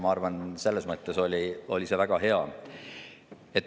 Ma arvan, et selles mõttes oli see väga hea.